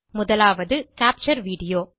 முதலாவது capture video